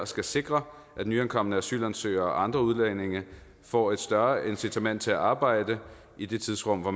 skal sikre at nyankomne asylansøgere og andre udlændinge får et større incitament til at arbejde i det tidsrum hvor